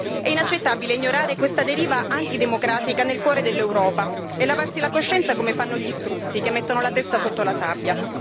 È inaccettabile ignorare questa deriva antidemocratica nel cuore dell'Europa e lavarsi la coscienza, come fanno gli struzzi che mettono la testa sotto la sabbia.